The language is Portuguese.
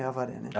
É Avaré, né?